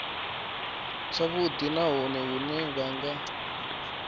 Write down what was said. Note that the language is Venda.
tshavhudi nahone hune vha nga